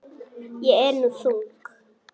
Ég er nú þung.